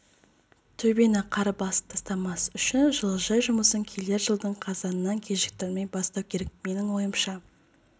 төбені қар басып тастамас үшін жылыжай жұмысын келер жылдың қазанынан кешіктірмей бастау керек менің ойымша